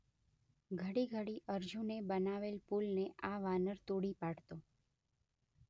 ઘડી ઘડી અર્જુને બનાવેલ પુલને આ વાનર તોડી પાડતો